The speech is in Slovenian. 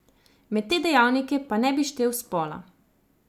Med te dejavnike pa ne bi štel spola.